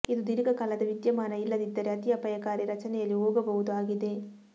ಇದು ದೀರ್ಘಕಾಲದ ವಿದ್ಯಮಾನ ಇಲ್ಲದಿದ್ದರೆ ಅತಿ ಅಪಾಯಕಾರಿ ರಚನೆಯಲ್ಲಿ ಹೋಗಬಹುದು ಆಗಿದೆ